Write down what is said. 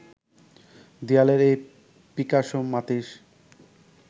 দেয়ালের এই পিকাসো মাতিস